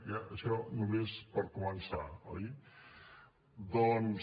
ja això només per començar oi doncs